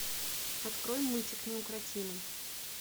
открой мультик неукротимый